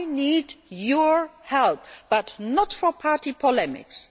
that done. I need your help, but not for party